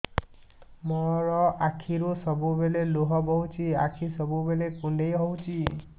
ମୋର ଆଖିରୁ ସବୁବେଳେ ଲୁହ ବୋହୁଛି ଆଖି ସବୁବେଳେ କୁଣ୍ଡେଇ ହଉଚି